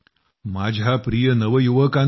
माझ्या प्रिय नवयुवकांनो